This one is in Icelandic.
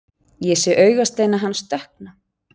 Ég sé augasteina hans dökkna.